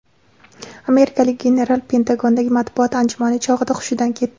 Amerikalik general Pentagondagi matbuot anjumani chog‘ida hushidan ketdi .